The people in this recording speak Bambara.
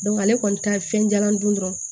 ale kɔni ta ye fɛn jalan dun dɔrɔn